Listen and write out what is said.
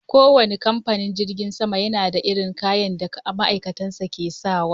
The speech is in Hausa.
Kowanne kamfanin jirgin sama yana da irin kayan da ma'aikatan sa ke sawa.